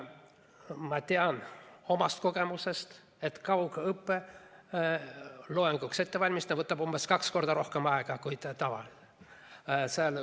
Ma tean omast kogemusest, et kaugõppeloenguks ettevalmistamine võtab umbes kaks korda rohkem aega kui tavaliselt.